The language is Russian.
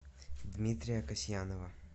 дмитрия касьянова